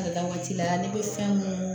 Ala waati la ne bɛ fɛn mun